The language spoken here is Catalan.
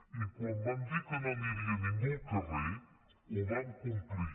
i quan vam dir que no aniria ningú al carrer ho vam complir